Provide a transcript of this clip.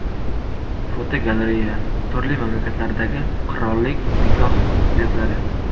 Fotogalereya: Turli mamlakatlardagi qirollik nikoh ko‘ylaklari.